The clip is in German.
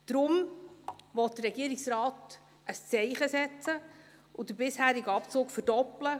Deshalb will der Regierungsrat ein Zeichen setzen und den bisherigen Abzug verdoppeln.